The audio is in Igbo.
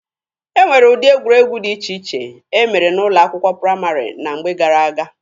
E nwere ụdị egwuregwu dị iche iche e mere n'ụlọ akwụkwọ praịmarị na mgbe gara-aga.